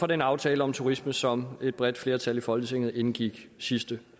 den aftale om turisme som et bredt flertal i folketinget indgik sidste